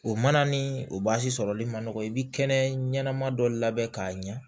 O mana ni o sɔrɔli ma nɔgɔn i bi kɛnɛ ɲɛnama dɔ labɛn k'a ɲɛ